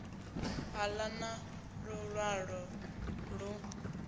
u ḓa na luṅwalo lu